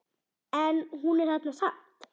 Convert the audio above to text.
En hún er þarna samt.